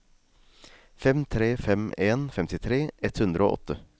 fem tre fem en femtitre ett hundre og åtte